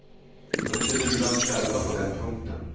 Vi får inte lura oss själva på den punkten.